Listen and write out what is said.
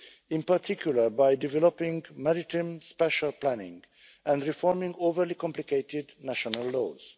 in particular by developing maritime spacial planning and reforming overly complicated national laws.